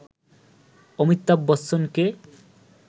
অমিতাভ বচ্চনকে